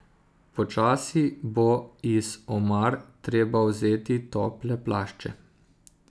Počasi bo iz omar treba vzeti tople plašče.